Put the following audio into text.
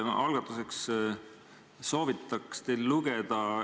Alustuseks soovitan teil lugeda üht artiklit.